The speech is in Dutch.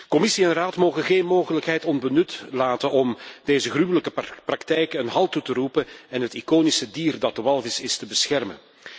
Commissie en Raad mogen geen mogelijkheid onbenut laten om deze gruwelijke praktijken een halt toe te roepen en het iconische dier dat de walvis is, te beschermen.